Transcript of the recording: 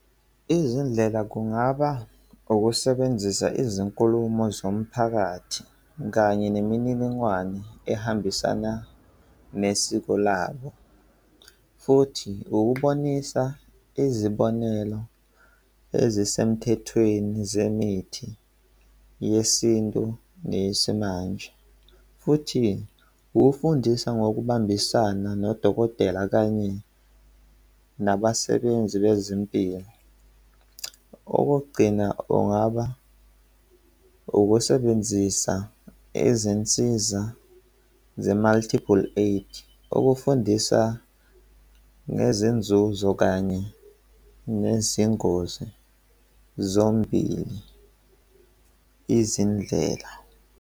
Izindlela kungaba ukusebenzisa izinkulumo zomphakathi kanye nemininingwane ehambisana nesiko labo futhi ukubonisa izibonelo ezisemthethweni zemithi yesintu neyesimanje futhi ukufundisa ngokubambisana nodokotela kanye nabasebenzi bezempilo. Okokugcina, kungaba ukusebenzisa izinsiza ze-multiple aid ukufundisa ngezinzuzo kanye nezingozi zombili izindlela.